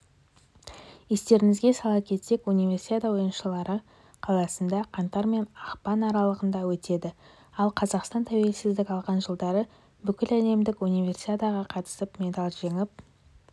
естеріңізге сала кетсек универсиада ойындарыалматы қаласында қаңтар мен ақпан аралығында өтеді ал қазақстан тәуелсіздік алған жылдары бүкіләлемдік универсиадаға қатысып медаль жеңіп